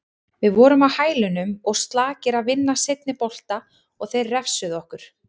Við vorum á hælunum og slakir að vinna seinni bolta og þeir refsuðu okkur.